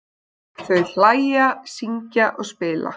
Þau hlæja, syngja og spila.